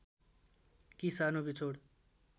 कि सानो बिछोड